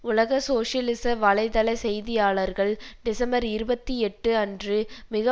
உலக சோசியலிச வலை தள செய்தியாளர்கள் டிசம்பர் இருபத்தி எட்டு அன்று மிக